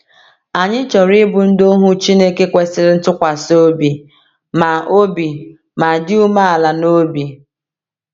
Anyị chọrọ ịbụ ndị ohu Chineke kwesịrị ntụkwasị obi ma obi ma dị umeala n’obi.